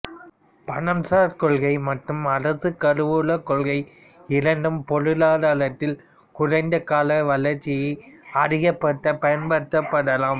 பணம்சார் கொள்கை மற்றும் அரசுக்கருவூலக் கொள்கை இரண்டும் பொருளாதாரத்தில் குறைந்த கால வளர்ச்சியை அதிகப்படுத்தப் பயன்படுத்தப்படலாம்